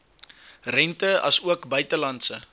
rente asook buitelandse